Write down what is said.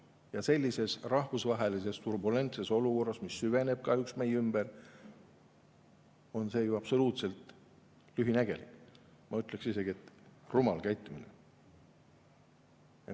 Ja sellises rahvusvahelises turbulentses olukorras, mis kahjuks meie ümber süveneb, on see ju absoluutselt lühinägelik, ma ütleksin isegi, et rumal käitumine.